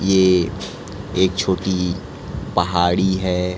ये एक छोटी पहाड़ी है।